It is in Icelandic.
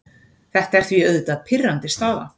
Þetta er því auðvitað pirrandi staða.